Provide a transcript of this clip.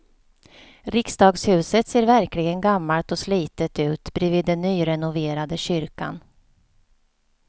Riksdagshuset ser verkligen gammalt och slitet ut bredvid den nyrenoverade kyrkan.